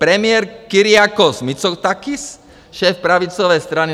Premiér Kyriakos Mitsotakis, šéf pravicové strany